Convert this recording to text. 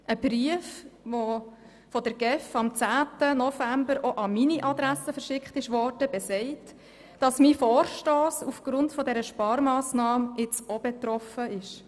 Ein von der GEF am 10. November auch an meine Adresse versendetes Schreiben besagt, dass mein Vorstoss aufgrund dieser Sparmassnahme auch betroffen sei.